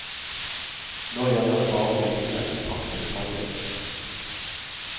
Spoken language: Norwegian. Nå gjelder det bare å vise dette i praktisk handling.